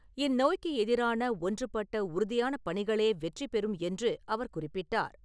இந்நோய்க்கு எதிரான ஒன்றுபட்ட உறுதியான பணிகளே வெற்றி பெறும் என்று அவர் குறிப்பிட்டார்.